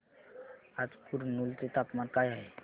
आज कुरनूल चे तापमान काय आहे